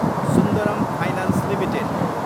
Sundaram finance Ltd